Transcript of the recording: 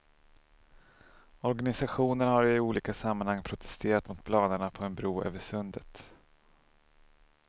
Organisationen har i olika sammanhang protesterat mot planerna på en bro över sundet.